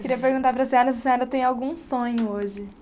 Queria perguntar para a senhora, se a senhora tem algum sonho hoje.